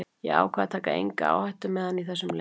Ég ákvað að taka enga áhættu með hann í þessum leik.